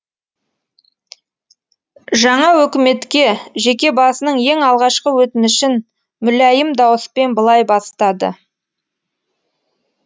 жаңа өкіметке жеке басының ең алғашқы өтінішін мүләйім дауыспен былай бастады